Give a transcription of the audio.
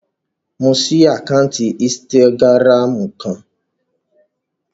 Mo ṣí àkáǹtì ínstágíráàmù kan